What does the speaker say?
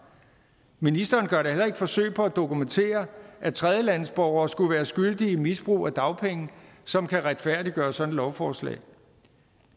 ministeren gør da heller ikke forsøg på at dokumentere at tredjelandsborgere skulle være skyldige i misbrug af dagpenge som kan retfærdiggøre sådan et lovforslag